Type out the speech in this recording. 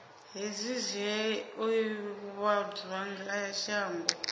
hezwi zwi o ivhadzwa shango